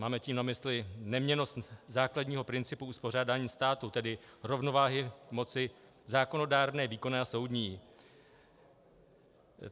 Máme tím na mysli neměnnost základního principu uspořádání státu, tedy rovnováhy moci zákonodárné, výkonné a soudní.